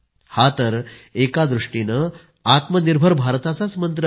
हा तर एका दृष्टीने आत्मनिर्भर भारताचाही मंत्र आहे